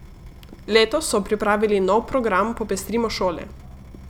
Letos so pripravili nov program Popestrimo šole.